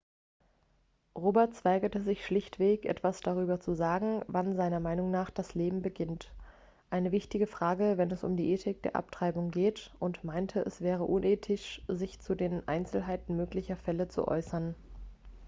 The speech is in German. roberts weigerte sich schlichtweg etwas darüber zu sagen wann seiner meinung nach das leben beginnt eine wichtige frage wenn es um die ethik der abtreibung geht und meinte es wäre unethisch sich zu den einzelheiten möglicher fälle zu äußern